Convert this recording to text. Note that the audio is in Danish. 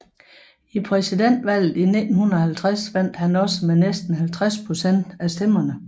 I præsidentvalget i 1950 vandt han også med næsten 50 procent af stemmerne